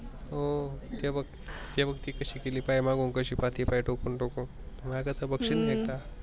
ओ ते बग ते बग किती सिकेली कसी पाहते मागून टोकुन टोकून माय कडे बगसील नाही का?